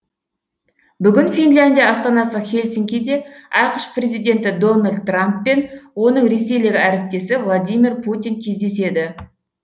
бүгін финляндия астанасы хельсинкиде ақш президенті дональд трамп пен оның ресейлік әріптесі владимир путин кездеседі